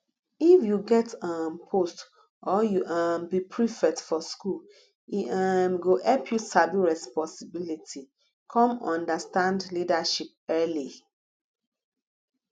if u get um post or u um be prefect for school e um go help you sabi responsibility come understand leadership early